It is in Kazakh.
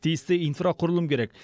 тиісті инфрақұрылым керек